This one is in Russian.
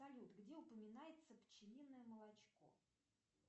салют где упоминается пчелиное молочко